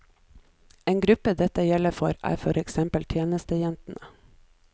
En gruppe dette gjelder for, er for eksempel tjenestejentene.